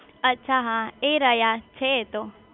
અચ્છા હા એ રહ્યા છે એતો